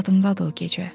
Yadımdadır o gecə.